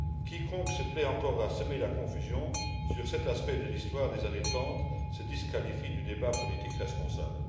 Quiconque se plaît encore à semer la confusion sur cet aspect de l'histoire des années 30 se disqualifie du débat politique responsable.